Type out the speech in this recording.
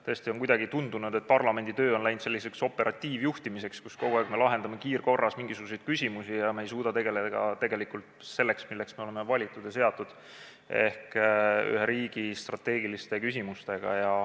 Tõesti on kuidagi tundunud, et parlamenditöö on läinud selliseks operatiivjuhtimiseks, kogu aeg me lahendame kiirkorras mingisuguseid küsimusi ega suuda tegeleda sellega, milleks me oleme valitud ja seatud ehk ühe riigi strateegiliste küsimustega.